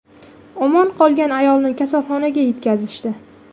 Omon qolgan ayolni kasalxonaga yetkazishdi.